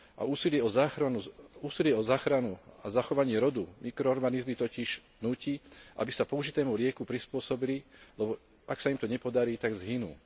Úsilie o záchranu a zachovanie rodu mikroorganizmy totiž núti, aby sa použitému lieku prispôsobili, lebo ak sa im to nepodarí, tak zhynú.